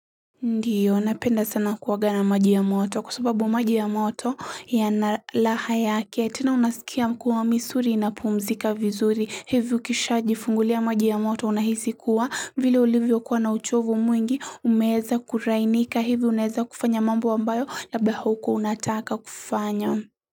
Ndiyo, napenda sana kuoga na maji ya moto, kwa sababu maji ya moto yana raha yake, tena unasikia kuwa misuli inapumzika vizuri, hivi ukisha jifungulia maji ya moto unahisi kuwa, vile ulivyo kuwa na uchovu mwingi, umeeza kulainika, hivi unaeza kufanya mambo ambayo, labda haukuwa unataka kufanya.